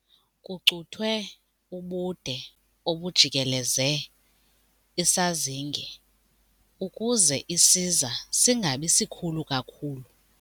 Kucuthwe ubude obujikeleze isazinge ukuze isiza singabi sikhulu kakhulu.